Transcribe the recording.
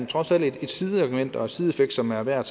trods alt er et sideargument og en sideeffekt som er værd at